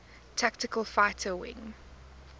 tactical fighter wing